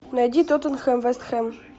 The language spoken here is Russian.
найди тоттенхэм вест хэм